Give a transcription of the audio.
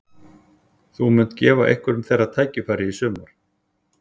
Þú munt gefa einhverjum þeirra tækifæri í sumar?